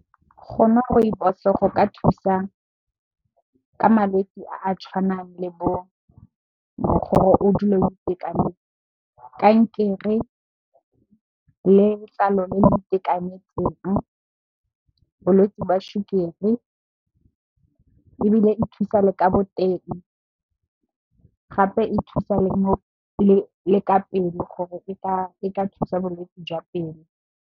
Go nwa Rooibos go ka thusa ka malwetse a a tshwanang le bo mogoro gore o dule o itekanetse, kankere le letlalo le le itekanetseng, bolwetsi jwa sukiri ebile e thusa le ka boteng gape e thusa le ka pelo, gore e ka e ka thusa bolwetse jwa pelo.